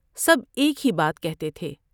سب ایک ہی بات کہتے تھے ۔